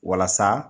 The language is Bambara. Walasa